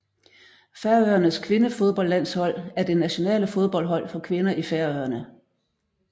Færøernes kvindefodboldlandshold er det nationale fodboldhold for kvinder i Færøerne